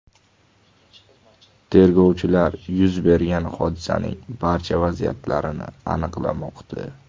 Tergovchilar yuz bergan hodisaning barcha vaziyatlarini aniqlamoqda.